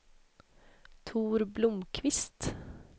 Tor Blomqvist